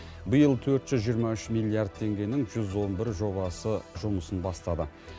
биыл төрт жүз жиырма үш миллиард теңгенің жүз он бір жобасы жұмысын бастады